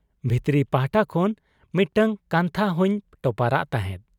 ᱵᱷᱤᱛᱨᱤ ᱯᱟᱦᱴᱟ ᱠᱷᱚᱱ ᱢᱤᱫᱴᱟᱹᱝ ᱠᱟᱱᱛᱷᱟ ᱦᱚᱸᱧ ᱴᱚᱯᱟᱨᱟᱫ ᱛᱟᱦᱮᱸᱫ ᱾'